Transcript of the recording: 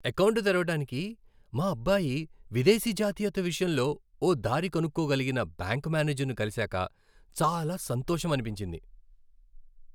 Account తెరవడానికి మా అబ్బాయి విదేశీ జాతీయత విషయంలో ఓ దారి కనుక్కోగలిగిన బ్యాంక్ మేనేజర్ను కలిసాక చాలా సంతోషమనిపించింది.